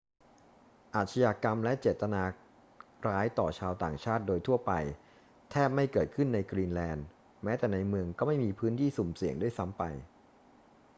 อาชญากรรมและเจตนาร้ายต่อชาวต่างชาติโดยทั่วไป แทบไม่เกิดขึ้นในกรีนแลนด์ แม้แต่ในเมืองก็ไม่มี พื้นที่สุ่มเสี่ยง ด้วยซ้ำไป